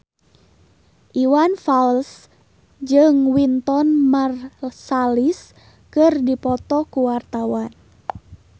Iwan Fals jeung Wynton Marsalis keur dipoto ku wartawan